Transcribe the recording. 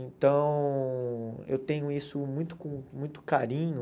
Então, eu tenho isso muito com muito carinho.